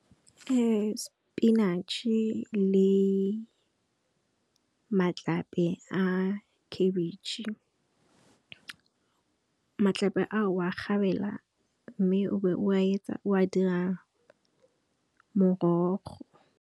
Ke sepinatšhe le matlape a khabetšhe, matlape a o a o kgabela mme o be o a dira morogo.